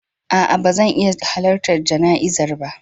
A'a, ba zan iya halartar jana'izar ba